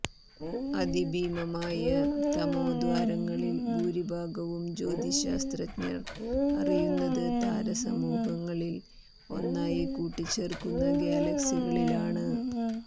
അതിഭീമമായ തമോദ്വാരങ്ങളിൽ ഭൂരിഭാഗവും ജ്യോതിശാസ്ത്രജ്ഞർ അറിയുന്നത് താരസമൂഹങ്ങളിൽ ഒന്നായി കൂട്ടിച്ചേർക്കുന്ന ഗാലക്സികളിലാണ്